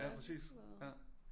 Ja præcis ja